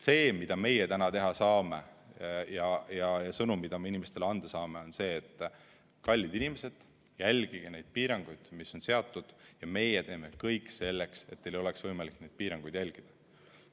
See, mida meie täna teha saame, ja sõnum, mida me inimestele anda saame, on see: kallid inimesed, järgige neid piiranguid, mis on seatud, ja meie teeme kõik selleks, et teil oleks võimalik neid piiranguid järgida.